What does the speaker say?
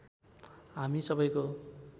हामी सबैको